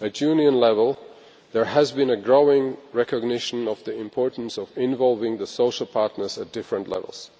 At Union level there has been a growing recognition of the importance of involving the social partners at different levels.